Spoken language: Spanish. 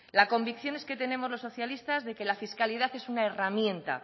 las convicciones que tenemos los socialistas de que la fiscalidad es una herramienta